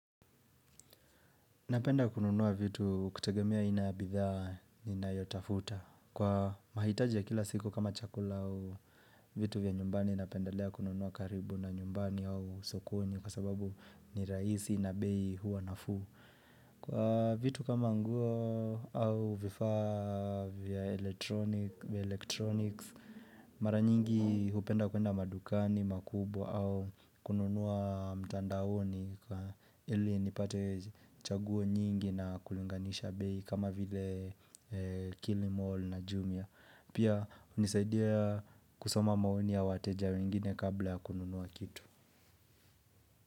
Napenda kununua vitu kutegemea aina ya bidhaa ninayotafuta. Kwa mahitaji ya kila siku kama chakula au vitu vya nyumbani napendelea kununua karibu na nyumbani au sokoni kwa sababu ni rahisi na bei huwa nafuu. Kwa vitu kama nguo au vifaa vya elektronics Mara nyingi hupenda kuenda madukani, makubwa au kununua mtandaoni kwa ili nipate chaguo nyingi na kulinganisha bei kama vile kilimall na jumia. Pia unisaidia kusoma maoni wateja wengine kabla ya kununua kitu.